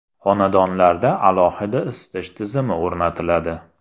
Xonadonlarda alohida isitish tizimi o‘rnatiladi.